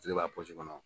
Kile b'a kɔnɔ